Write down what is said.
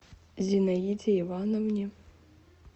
зинаиде ивановне